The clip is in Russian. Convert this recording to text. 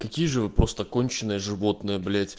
какие же вы просто конченые животные